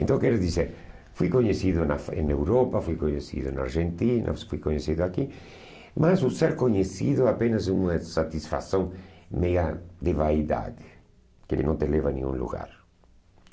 Então, quer dizer, fui conhecido na em na Europa, fui conhecido na Argentina, fui conhecido aqui, mas o ser conhecido é apenas uma satisfação meia de vaidade, que ele não te leva a nenhum lugar.